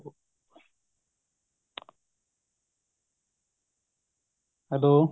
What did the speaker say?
hello